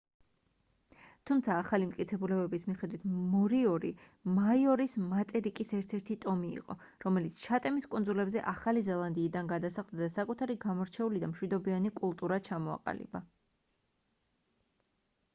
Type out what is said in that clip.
თუმცა ახალი მტკიცებულებების მიხედვით მორიორი მაორის მატერიკის ერთ-ერთი ტომი იყო რომელიც ჩატემის კუნძულებზე ახალი ზელანდიიდან გადასახლდა და საკუთარი გამორჩეული და მშვიდობიანი კულტურა ჩამოაყალიბა